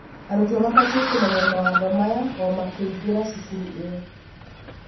arutwo mabatie kũmenya mawatho maya o makĩingĩra cukuru ĩyo.